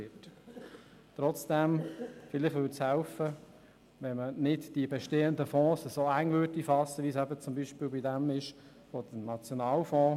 Trotzdem würde es vielleicht helfen, wenn man die bestehenden Fonds nicht so eng fassen würde, wie das zum Beispiel beim SNB-Fonds der Fall ist.